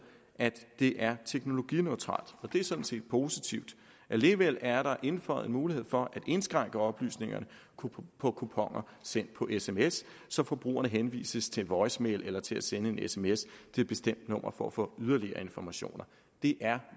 at det er teknologineutralt og det er sådan set positivt alligevel er der indføjet en mulighed for at indskrænke oplysningerne på kuponer sendt på sms så forbrugerne henvises til voicemail eller til at sende en sms et bestemt nummer for at få yderligere informationer det er